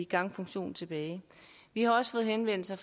gangfunktion tilbage vi har også fået henvendelser